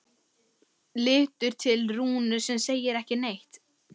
Lítur til Rúnu sem segir ekki neitt.